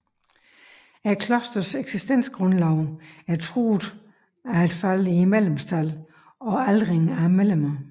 Klosterets eksistensgrundlag er truet af et fald i medlemskab og aldring af medlemmer